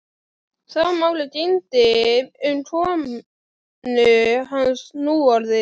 Sama máli gegndi um konu hans núorðið.